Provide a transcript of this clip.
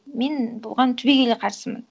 мен оған түбегейлі қарсымын